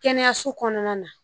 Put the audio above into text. Kɛnɛyaso kɔnɔna na